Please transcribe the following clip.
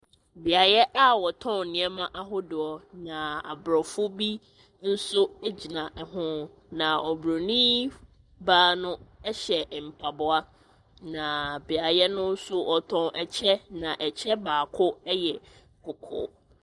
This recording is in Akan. Beaeɛ a wɔtɔn nneɛma ahodoɔ na aborɔfo bi nso ɛgyina ɛho. Na oburoni baa no ɛhyɛ mpaboa na beaeɛ no nso wɔtɔn ɛkyɛ na ɛkyɛ baako ɛyɛ kɔkɔɔ.